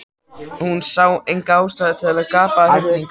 Hún sá enga ástæðu til að gapa af hrifningu.